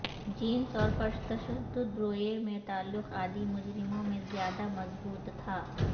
jeans اور پرتشدد رویے میں تعلق عادی مجرموں میں زیادہ مضبوط تھا